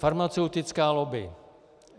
Farmaceutická lobby.